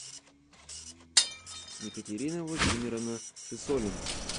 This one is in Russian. екатерина владимировна сысолина